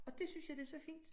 Og dét synes jeg det så fint